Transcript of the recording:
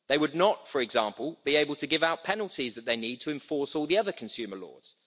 They would not, for example, be able to give out penalties that they need to enforce all the other consumer laws.